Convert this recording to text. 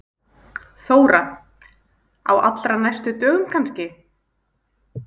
Þóra: Á allra næstu dögum kannski?